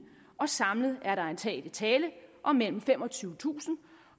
og samlet er der antagelig tale om mellem femogtyvetusind